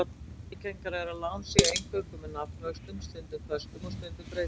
Algengara er að lán séu eingöngu með nafnvöxtum, stundum föstum og stundum breytilegum.